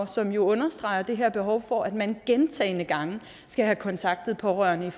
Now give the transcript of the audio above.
som jo understreger det her behov for at man gentagne gange skal have kontaktet pårørende